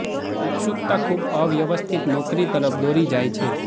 ઉત્સુકતા ખૂબ અવ્યવસ્થિત નોકરી તરફ દોરી જાય છે